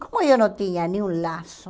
Como eu não tinha nem um laço,